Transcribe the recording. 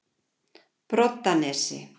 Broddanesi